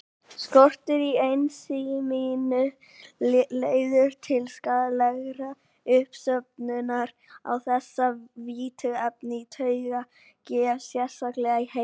Skortur á ensíminu leiðir til skaðlegrar uppsöfnunar á þessu fituefni í taugavef, sérstaklega í heila.